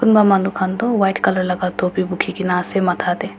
kunba manu khan Tu white color laga topi bukhigena ase matha dey.